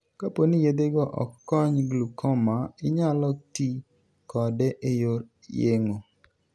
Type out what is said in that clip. Kapo ni yedhego ok kony glaucoma, inyalo ti kode e yor yeng'o.